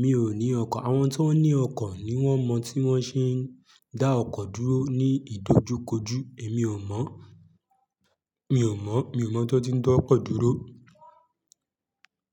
Mi ò ní ọkọ̀, àwọn tó ní ọkọ̀ ni wón mọ tí wón ṣe ń dá ọkọ̀ dúró ní ìdojúkojú. Èmi ò mọ̀, mi ò mọ̀, mi ò mọ̀ tí wón ti ń dá ọkọ̀ dúró.